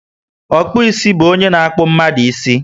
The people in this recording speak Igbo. Okpu isi bu ónyé na akpu mmadụ ísì